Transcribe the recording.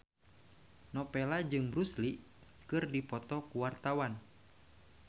Nowela jeung Bruce Lee keur dipoto ku wartawan